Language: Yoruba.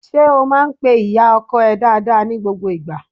Ṣé o máá ń pe ìyá ọkọ ẹ dáadáa ni gbogbo ìgbà?